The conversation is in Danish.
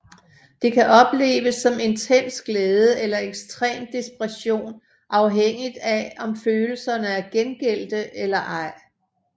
Det kan opleves som intens glæde eller ekstrem desperation afhængigt af om følelserne er gengældte eller ej